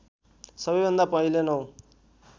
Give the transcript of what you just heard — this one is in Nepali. सबैभन्दा पहिले नौ